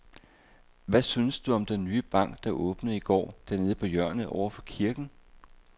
Hvad synes du om den nye bank, der åbnede i går dernede på hjørnet over for kirken?